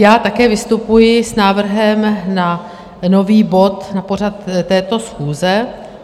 Já také vystupuji s návrhem na nový bod na pořad této schůze.